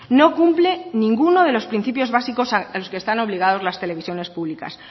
no cumple ninguno de los principios básicos a los que están obligadas las televisiones públicas